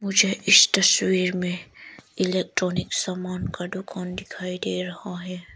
मुझे इस तशवीर में इलेक्ट्रॉनिक सामान का दुकान दिखाई दे रहा है।